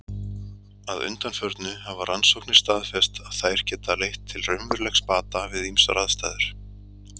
Að undanförnu hafa rannsóknir staðfest að þær geta leitt til raunverulegs bata við ýmsar aðstæður.